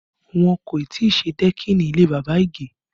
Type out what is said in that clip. Wọn kò tí ì ṣe dẹ́kìnì ilé bàbá Ige